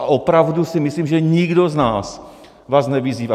A opravdu si myslím, že nikdo z nás vás nevyzývá.